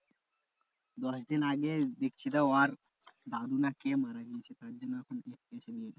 দশদিন আগে দেখছিতো ওর দাদু না কে মারা গেছে তারজন্য এখন